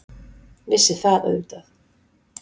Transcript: Vissi það auðvitað.